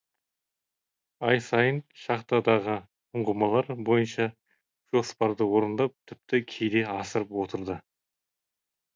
ай сайын шахтадағы ұңғымалар бойынша жоспарды орындап тіпті кейде асырып отырды